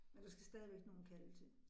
Men der skal stadigvæk nogle kalve til